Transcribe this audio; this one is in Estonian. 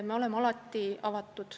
Me oleme alati avatud.